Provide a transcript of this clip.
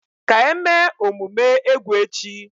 ka eme omume egwu echi.